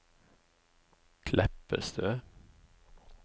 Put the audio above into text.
Kleppestø